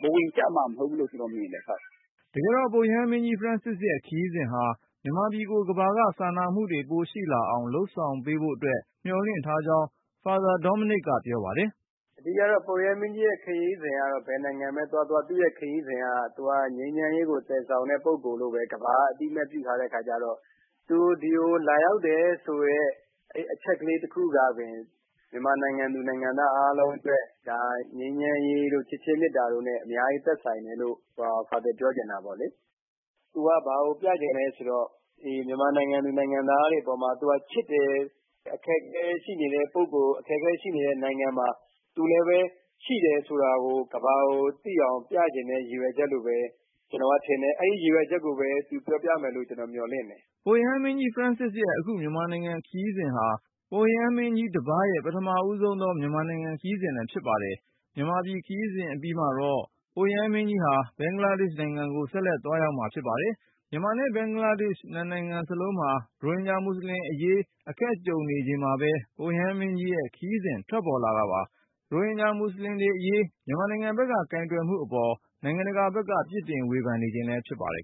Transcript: ဘဝင်ကျမှာမဟုတ်ဘူးလို့ ကျနော်မြင်တယ်။” တကယ်တော့ ပုပ်ရဟန်းမင်းကြီး Francis ရဲ့ခရီးစဉ်ဟာ မြန်မာကို ကမ္ဘာက စာနာမှုတွေ ပိုရှိလာအောင် လုပ်ဆောင်ပေးဖို့အတွက် မျှော်လင့် ထားကြောင်း Father Dominic ကပြောပါတယ်။ “အဓိကကတော့ ပုပ်ရဟန်းမင်းကြီးရဲ့ခရီးစဉ်ကတော့ ဘယ်နိုင်ငံပဲသွားသွား သူက ငြိမ်းချမ်းရေးကိုသယ်ဆောင်တဲ့ ပုဂ္ဂိုလ်လို့ပဲ ကမ္ဘာက အသိအမှတ်ပြုထားတဲ့အခါကျတော့ သူဒီကို လာရောက်တယ်ဆိုတဲ့အချက်ကလေး တခုကပင် မြန်မာနိုင်ငံသူ၊ နိုင်ငံသား အားလုံး အတွက် ငြိမ်းချမ်းရေးတို့၊ ချစ်ခြင်းမေတ္တာတို့နဲ့ အများကြီးသက်ဆိုင်တယ်လို့ ဖာသာပြောချင်တာပေါ့လေ။ သူက ဘာကိုပြချင်လဲဆိုတော့ မြန်မာနိုင်ငံသူ နိုင်ငံသားတွေအပေါ်မှာ သူက ချစ်တယ်၊ အခက်အခဲရှိနေတဲ့ပုဂ္ဂိုလ်၊ အခက်အခဲရှိနေတဲ့ နိုင်ငံမှာ သူလည်းပဲရှိတယ်ဆိုတာကို ကမ္ဘာကိုသိအောင် ပြချင်တဲ့ရည်ရွယ်ချက်လို့ပဲ ကျနော်ကထင်တယ်။ အဲဒီရည်ရွယ်ချက်ကိုပဲ သူ ပြောပြမယ်လို့ ကျနော် မျှော်လင့်တယ်။” ပုပ်ရဟန်းမင်းကြီး Francis ရဲ့ အခု မြန်မာနိုင်ငံ ခရီးစဉ်က ပုပ်ရဟန်းမင်းကြီး တပါးရဲ့ ပထမဆုံးသော မြန်မာနိုင်ငံ ခရီးစဉ် ဖြစ်ပါတယ်။ မြန်မာ ခရီးစဉ် အပြီးမှာတော့ ပုပ်ရဟန်း မင်းကြီးက ဘင်္ဂလားဒေရှ့် နိုင်ငံကို ဆက်လက်သွားရောက်မှာ ဖြစ်ပါတယ်။ မြန်မာနဲ့ ဘင်္ဂလားဒေရှ့် နှစ်နိုင်ငံ စလုံးမှာ ရိုဟင်ဂျာ မူဆလင်အရေး အခက်ကြုံနေရချိန်မှာပဲ ပုပ်ရဟန်းမင်းကြီးရဲ့ ခရီးစဉ် ထွက်ပေါ်လာတာပါ။ ရိုဟင်ဂျာ မူဆလင်တွေအရေး မြန်မာနိုင်ငံ ဘက်က ကိုင်တွယ်မှုအပေါ် နိုင်ငံတကာဘက်က ပြစ်တင်ဝေဖန်နေချိန်လည်း ဖြစ်ပါတယ်